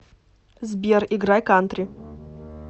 сбер играй кантри